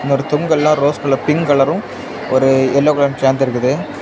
இந்த தொங்கல்லாம் rose colour pink கலரும் ஒரு எல்லோ கலர் சேந்து இருக்குது.